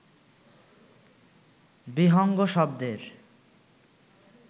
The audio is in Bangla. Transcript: বিহঙ্গ শব্দের